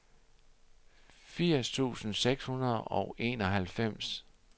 firs tusind seks hundrede og enoghalvfems